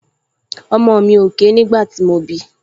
Ọmọ mi ò ké nígbà tí mo bí i